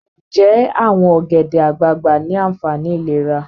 Nje awon ogede-agbagba ni aanfani ilera?